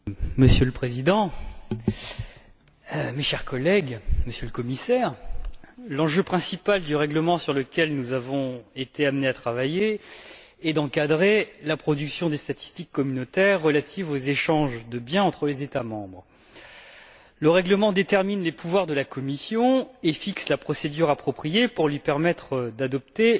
Monsieur le Président, Monsieur le Commissaire, chers collègues, l'enjeu principal du règlement sur lequel nous avons été amenés à travailler est d'encadrer la production des statistiques communautaires relatives aux échanges de biens entre les États membres. Le règlement détermine les pouvoirs de la Commission et fixe la procédure appropriée pour lui permettre d'adopter